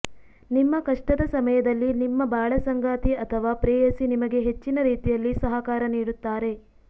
ನಿಮ್ಮ ಕಷ್ಟದ ಸಮಯದಲ್ಲಿ ನಿಮ್ಮ ಬಾಳಸಂಗಾತಿ ಅಥವ ಪ್ರೇಯಸಿ ನಿಮಗೆ ಹೆಚ್ಚಿನ ರೀತಿಯಲ್ಲಿ ಸಹಕಾರ ನೀಡುತ್ತಾರೆ